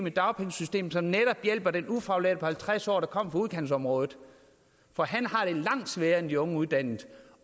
et dagpengesystem som netop hjælper den ufaglærte på halvtreds år der kommer fra udkantsområdet for han har det langt sværere end de unge nyuddannede